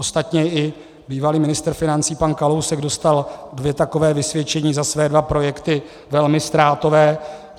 Ostatně i bývalý ministr financí pan Kalousek dostal dvě taková vysvědčení za své dva projekty, velmi ztrátové.